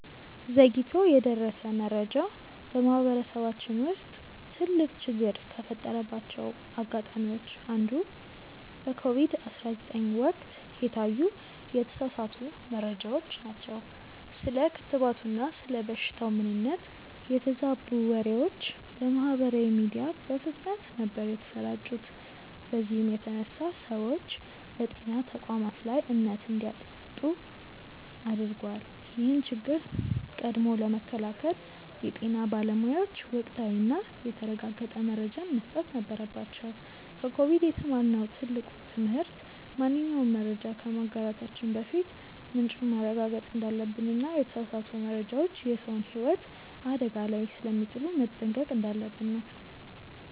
ዘግይቶ የደረሰ መረጃ በማህበረሰባችን ውስጥ ትልቅ ችግር ከፈጠረባቸው አጋጣሚዎች አንዱ በኮቪድ 19 ወቅት የታዩ የተሳሳቱ መረጃዎች ናቸው። ስለ ክትባቱና ስለ በሽታው ምንነት የተዛቡ ወሬዎች በማህበራዊ ሚዲያ በፍጥነት ነበር የተሰራጩት በዚህም የተነሳ ሰዎች በጤና ተቋማት ላይ እምነት እንዲያጡ አድርጓል። ይህን ችግር ቀድሞ ለመከላከል የጤና ባለሙያዎች ወቅታዊና የተረጋገጠ መረጃን መስጠት ነበረባቸው። ከኮቪድ የተማርነው ትልቁ ትምህርት ማንኛውንም መረጃ ከማጋራታችን በፊት ምንጩን ማረጋገጥ እንዳለብንና የተሳሳቱ መረጃዎች የሰውን ህይወት አደጋ ላይ ስለሚጥሉ መጠንቀቅ እንዳለብን ነው።